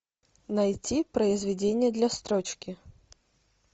найти произведение для строчки